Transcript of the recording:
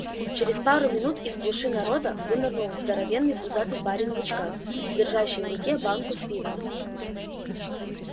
через пару минут из гущи народа вынырнул здоровенный пузатый парень в очках держащий в руке банку с пивом